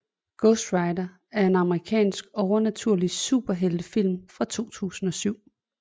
Ghost Rider er en amerikansk overnaturlig superheltefilm fra 2007